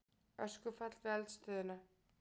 Öskufall við eldstöðina